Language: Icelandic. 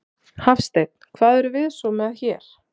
Hafsteinn: Hvað erum við svo með hér?